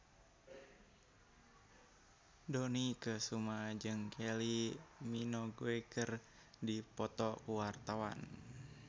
Dony Kesuma jeung Kylie Minogue keur dipoto ku wartawan